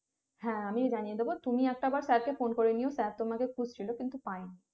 হ্যাঁ আমিও জানিয়ে দেব তুমি একটা বার sir কে phone নিয়ে sir তোমাকে খুঁজছিলো কিন্তু পাইনি